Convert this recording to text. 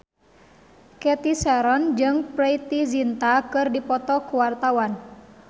Cathy Sharon jeung Preity Zinta keur dipoto ku wartawan